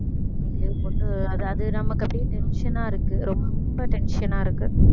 இன்னைக்கு leave போட்டு அது அது நமக்கு அப்படியே tension ஆ இருக்கு ரொம்ப tension ஆ இருக்கு